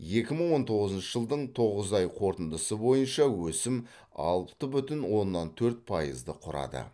екі мың он тоғызыншы жылдың тоғыз ай қорытындысы бойынша өсім алты бүтін оннан төрт пайызды құрады